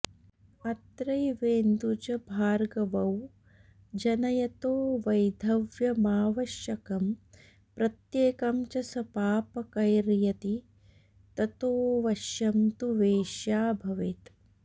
अत्रैवेन्दुजभार्गवौ जनयतो वैधव्यमावश्यकं प्रत्येकं च सपापकैर्यदि ततोऽवश्यं तु वेश्या भवेत्